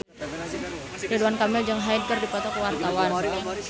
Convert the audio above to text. Ridwan Kamil jeung Hyde keur dipoto ku wartawan